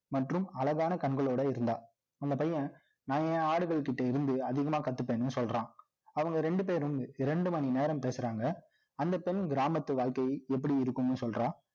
மற்றும் அழகான கண்களோட இருந்தா. அந்தப் பையன், நான் என் ஆடுகள்கிட்ட இருந்து, அதிகமா கத்துப்பேன்னு சொல்றான். அவங்க ரெண்டு பேரும், இரண்டு மணி நேரம் பேசறாங்க. அந்தப் பெண், கிராமத்து வாழ்க்கை, எப்படி இருக்கும்னு சொல்றா